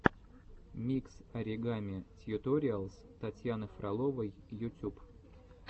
микс оригами тьюториалс татьяны фроловой ютюб